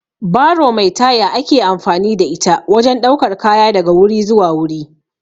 Baro mai taya ake amfani da ita wajen ɗaukar kaya daga wuri zuwa wuri